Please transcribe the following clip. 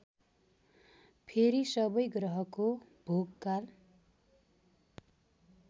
फेरि सबै ग्रहको भोगकाल